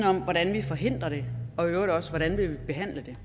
om hvordan vi forhindrer det og i øvrigt også hvordan vi vil behandle det